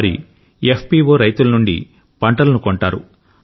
వారి ఎఫ్పిఒ రైతుల నుండి పంటలను కొంటారు